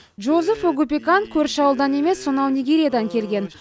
джозеф огупекан көрші ауылдан емес сонау нигериядан келген